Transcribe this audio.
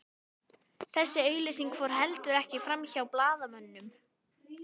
Þessi auglýsing fór heldur ekki framhjá blaðamönnum